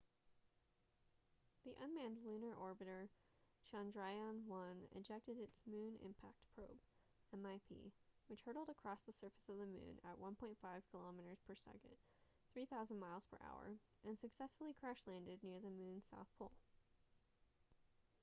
the unmanned lunar orbiter chandrayaan-1 ejected its moon impact probe mip which hurtled across the surface of the moon at 1.5 kilometres per second 3000 miles per hour and successfully crash landed near the moon's south pole